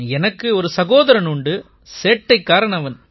எனக்கு ஒரு சகோதரன் உண்டு சேட்டைக்காரன் அவன்